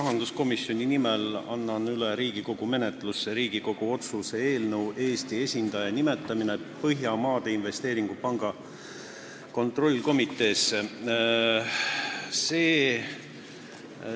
Rahanduskomisjoni nimel annan Riigikogu menetlusse Riigikogu otsuse "Eesti esindaja nimetamine Põhjamaade Investeerimispanga kontrollkomiteesse" eelnõu.